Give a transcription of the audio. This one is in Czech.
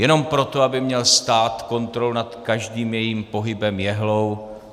Jenom proto, aby měl stát kontrolu nad každým jejím pohybem jehlou?